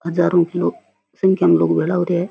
हजारो की संख्या में लोग भेला हु रिया है।